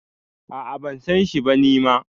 A` a ban san shi ba ni ma